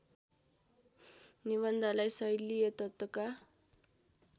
निबन्धलाई शैलीय तत्त्वका